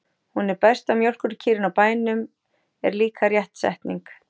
Hún er besta mjólkurkýrin á bænum, er líka rétt setning.